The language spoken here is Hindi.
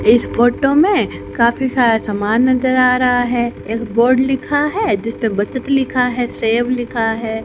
इस फोटो में काफी सारा सामान नजर आ रहा है एक बोर्ड लिखा है जीसपे बचत लिखा है सेव लिखा है।